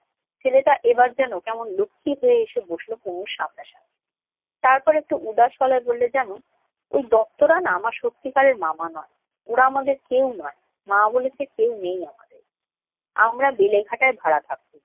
ছেলেটা এবার যেন কেমন লক্ষ্মী হয়ে এসে বসল তনুর সামনাসামনি। তারপর একটু উদাস গলায় বলল, জান ওই দত্তরা না আমার সত্যিকারের মামা নয়। ওরা আমাদের কেউ নয়। মা বলেছে, কেউ নেই আমাদের। আমরা বেলেঘাটায় ভাড়া থাকতুম।